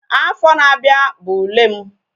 Afọ na-abịa bụ ule m